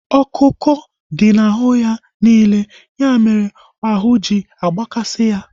ọkụ ọkụ dị na ahụ ya niile. Ya mere ahụ ji agbakasi ya